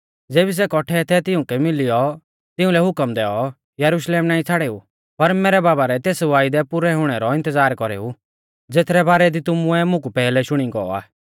ज़ेबी सै कौट्ठै थै तिऊंकु मिलियौ तिउंलै हुकम दैऔ यरुशलेम नाईं छ़ाड़ेऊ पर मैरै बाबा रै तेस वायदै पुरै हुणै रौ इन्तज़ार कौरेऊ ज़ेथरै बारै दी तुमुऐ मुकु पैहलै शुणी गौ आ